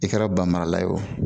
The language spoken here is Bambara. I kɛra ba marala ye o